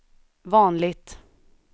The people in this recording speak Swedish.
vanligt